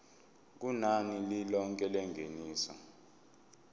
kunani lilonke lengeniso